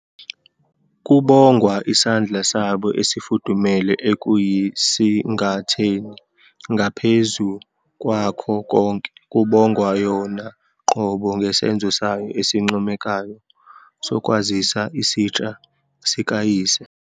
Kubongwa isandla sabo esifudumele ekuyisingatheni, ngaphezu kwakho konke, kubongwa yona qobo ngesenzo sayo esincomekayo sokwazisa isitsha sikayise.